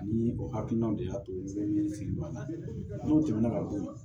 Ani o hakilinaw de y'a to fili don a la n'u tɛmɛna ka bɔ yen